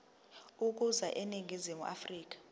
ukuza eningizimu afrika